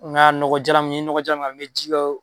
Nka nɔgɔ jalan ni n ye nɔgɔ jalan k'a la n bɛ ji kɛ o